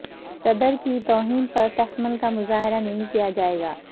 صدر کی توہین پر تحمل کا مظاہرہ نہیں کیا جائے گا